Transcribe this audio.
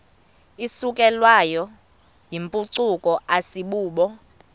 isukelwayo yimpucuko asibubo